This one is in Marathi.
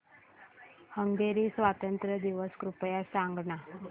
हंगेरी स्वातंत्र्य दिवस कृपया सांग ना